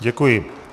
Děkuji.